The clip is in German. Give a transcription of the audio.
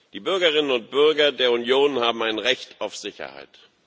Die Bürgerinnen und Bürger der Union haben ein Recht auf Sicherheit.